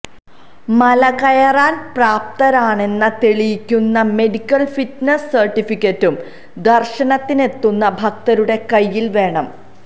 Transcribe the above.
മലകയറാൻ പ്രാപ്തരാണെന്ന് തെളിയിക്കുന്ന medical fitness സർട്ടിഫിക്കറ്റും ദർശനത്തിനെത്തുന്ന ഭക്തരുടെ കൈയില് വേണം